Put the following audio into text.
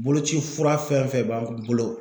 Boloci fura fɛn fɛn b'an bolo